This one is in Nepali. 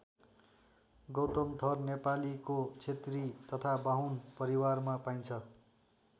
गौतम थर नेपालीको क्षेत्री तथा बाहुन परिवारमा पाइन्छ।